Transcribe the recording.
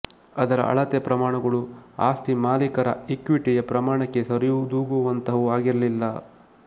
ಅದರ ಅಳತೆ ಪ್ರಮಾಣಗಳು ಆಸ್ತಿ ಮಾಲಿಕರ ಈಕ್ವಿಟಿಯ ಪ್ರಮಾಣಕ್ಕೆ ಸರಿದೂಗುವಂತಹವು ಆಗಿರಲಿಲ್ಲ